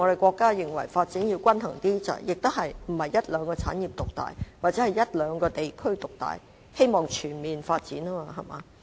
國家也認為發展要比較均衡，不是讓一兩個產業獨大或一兩個地區獨大，而是希望全面發展，對嗎？